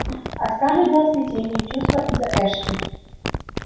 а скарлетт была в смятении чувства из-за эшли